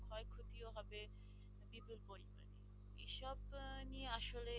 আসলে